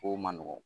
Kow man nɔgɔn